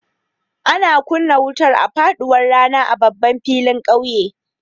Ana kunna wutar a faɗuwar rana a babban filin ƙauyen.